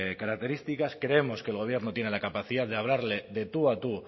características creemos que el gobierno tiene la capacidad de hablarle de tu a tu